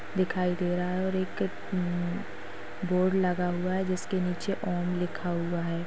दिखाई दे रहा है और एक हं बोर्ड लगा हुआ हैं जिसके नीचे ओम लिखा हुआ है।